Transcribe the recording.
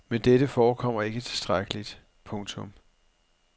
Men dette forekommer ikke tilstrækkeligt. punktum